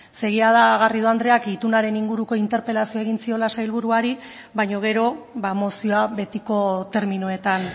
ez ze jada garrido andreak itunaren inguruko interpelazioa egin ziola sailburuari baina gero mozioa betiko terminoetan